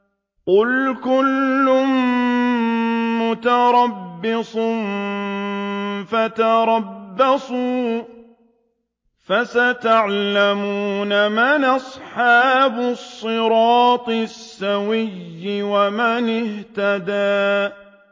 قُلْ كُلٌّ مُّتَرَبِّصٌ فَتَرَبَّصُوا ۖ فَسَتَعْلَمُونَ مَنْ أَصْحَابُ الصِّرَاطِ السَّوِيِّ وَمَنِ اهْتَدَىٰ